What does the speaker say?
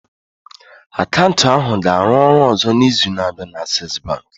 Akaụntụ ahụ ga-arụ ọrụ ọzọ n'izu na-abịa na Access Bank